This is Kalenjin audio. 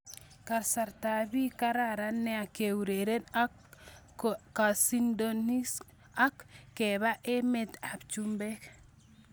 Kasarta bi kararan nea keureren ak kesindonis ak kepo emet ab chumbek